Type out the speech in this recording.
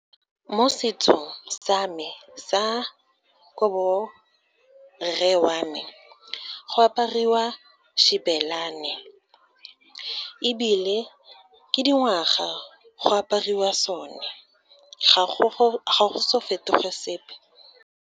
Mo setsong sa me sa ko borre wa me, go apariwa xibelane, ebile ke dingwaga go apariwa sone, ga go so fetoge sepe.